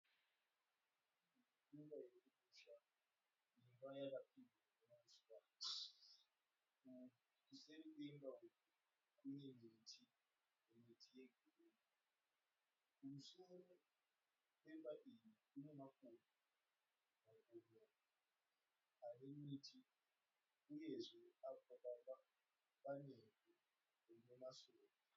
Iyi imba yekumusha, imba yakapfirirwa nehuswa. Kuseri kwemba iyi, kune miti, miti yegirini. Kumusoro kwemba iyi, kune makomo, makomo ane miti uyezve apa pamba panevhu rine masora.